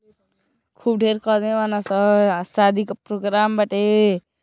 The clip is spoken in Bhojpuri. खूब ढेर क आदमी बड़ासन। सादी का प्रोग्राम बाटे।